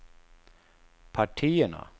partierna